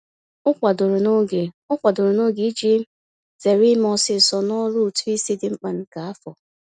O kwadoro n'oge O kwadoro n'oge iji zere ime ọsọọsọ n'ọrụ ụtụisi dị mkpa nke afọ.